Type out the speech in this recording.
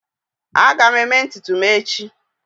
Aga m eme ntutu m echi